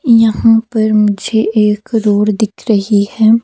यहां पर मुझे एक रोड दिख रही है।